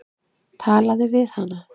Talaðu við hana.